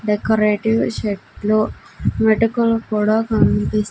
decorative shirt లు మెటుకులు కూడా కనిపిస్--